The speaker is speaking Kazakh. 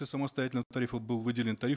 самостоятельного тарифа был выделен тариф